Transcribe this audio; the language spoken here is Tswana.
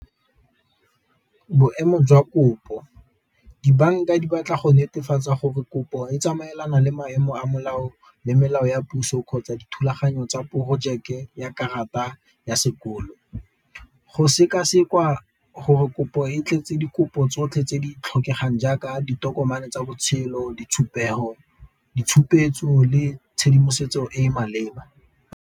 Boemo jwa kopo dibanka di batla go netefatsa gore kopo e tsamaelana le maemo a molao le melao ya puso kgotsa dithulaganyo tsa porojeke ya karata ya sekolo, go seka-sekwa gore kopo e tletse dikopo tsotlhe tse di tlhokegang jaaka ditokomane tsa botshelo ditshupetso le tshedimosetso e e maleba.